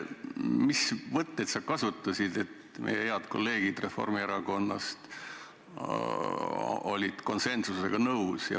Mis võtteid sa kasutasid, et meie head kolleegid Reformierakonnast olid otsusega konsensuslikult nõus?